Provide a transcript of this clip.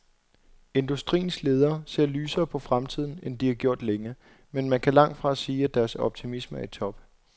Industriens ledere ser lysere på fremtiden, end de har gjort længe, men man kan langt fra sige, at deres optimisme er i top.